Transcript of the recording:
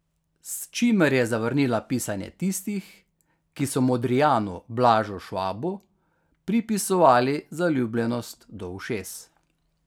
S čimer je zavrnila pisanje tistih, ki so modrijanu Blažu Švabu pripisovali zaljubljenost do ušes.